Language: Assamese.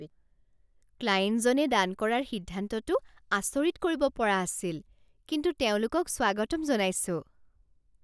ক্লায়েণ্টজনে দান কৰাৰ সিদ্ধান্তটো আচৰিত কৰিব পৰা আছিল, কিন্তু তেওঁলোকক স্বাগতম জনাইছোঁ।